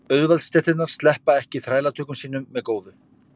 Auðvaldsstéttirnar sleppa ekki þrælatökum sínum með góðu.